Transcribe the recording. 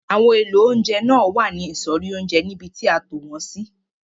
Àwọn èlò oúnjẹ náà wà ní ìsọ̀rí oúnjẹ níbi tí a tò wọn sí.